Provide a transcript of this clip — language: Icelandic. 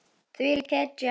Þvílík hetja.